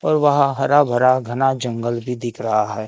और वहां हरा भरा घना जंगल भी दिख रहा है।